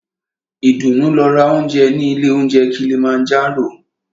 Ìdùnú lọ ra óúnjẹ ní ilé óunjẹ Kilimanjaro.